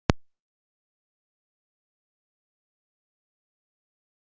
Hver ætti að fylla í skarðið fyrir mig í ár?